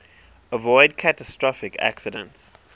avoid catastrophic accidents